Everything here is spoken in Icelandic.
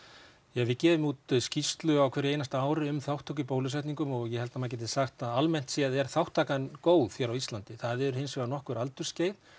ja við gefur út skýrslu á hverju ári um þátttöku í bólusetningum og ég held að maður geti sagt að almennt séð er þátttakan góð hér á Íslandi það eru hins vegar nokkur aldursskeið